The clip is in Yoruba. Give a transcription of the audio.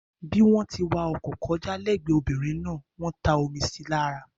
Bí wọ́n tí wá ọkọ̀ kọjá l'ẹgbẹ obìrin náà wọ́n ta omi síi lára